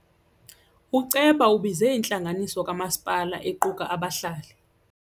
Uceba ubize intlanganiso kamasipala equka abahlali.